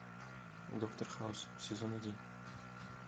доктор хаус сезон один